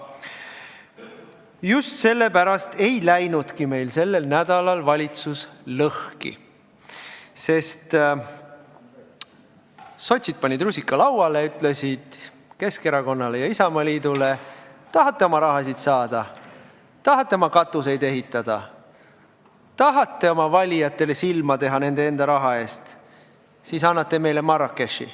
Just sellepärast ei läinudki meil sellel nädalal valitsus lõhki, sest sotsid panid rusika lauale ja ütlesid Keskerakonnale ja Isamaale, et kui tahate oma raha saada, tahate katuseid ehitada, tahate oma valijatele silma teha nende enda raha eest, siis annate meile Marrakechi.